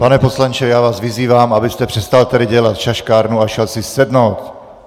Pane poslanče, já vás vyzývám, abyste přestal tady dělat šaškárnu a šel si sednout!